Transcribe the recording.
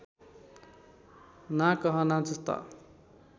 ना कहना जस्ता